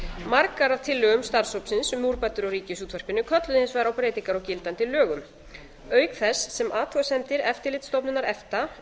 margar af tillögum starfshópsins um úrbætur á ríkisútvarpinu kölluðu hins vegar á breytingar á gildandi lögum auk þess sem athugasemdir eftirlitsstofnunar efta